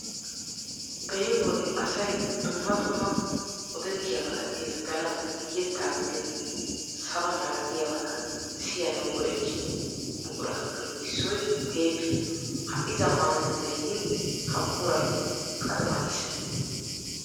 Beni wode asay dumma dumma odettiyaabata ezgganawu, yettaa gidin sabaa malatiyaabata siyanawu go'ttiyoo buquratuppe issoy teeppiyaa. Ha'i zammaanatettay yiin ha buquray qaxiwatiis.